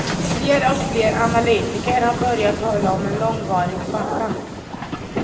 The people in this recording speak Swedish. Fler och fler analytiker har börjat tala om en långvarig svacka.